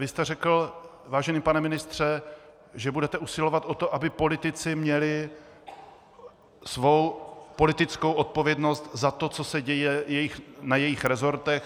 Vy jste řekl, vážený pane ministře, že budete usilovat o to, aby politici měli svou politickou odpovědnost za to, co se děje na jejich resortech.